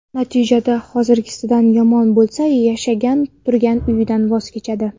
Natija hozirgisidan yomon bo‘lsa, yashab turgan uyidan voz kechadi.